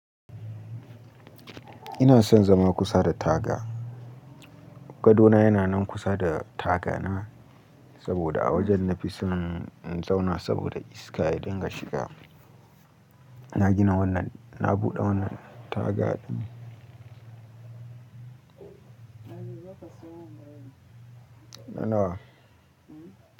Ina son zama kusa da taga. Gadona yana nan kusa da taga na, saboda a wajen nafi son in zauna saboda iska ya dinga shiga. Na gina wannan, na buɗe wannan taga ɗin. Na nawa?